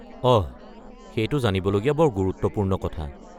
অহ! সেইটো জানিবলগীয়া বৰ গুৰুত্বপূৰ্ণ কথা।